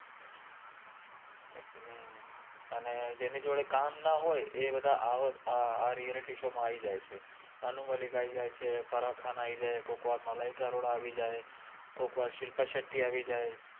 અને જેનિ જોદે કામ ના હોએ એ બધા આવા આ રિઅલિતિ શો મા આઇ જાએ છે અનુ મલ્લિક આઇ જાએ છે ફ઼રા ખાન આઇ જાએ છે કોક વાર મલાઇકા અરોરા આઇ જાએ ચે કોક વાર શિલ્પા શેત્ત્યિ આવિ જાએ